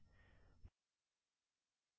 file और open पर click करें